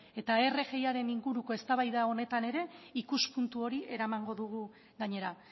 eta rgi aren inguruko eztabaida honetan ere ikuspuntu hori eramango dugu gainera